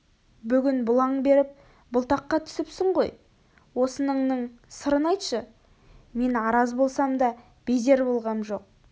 бүгін бұлаң беріп бұлтаққа түсіпсің ғой осыныңның сырын айтшы мен араз болсам да безер болғам жоқ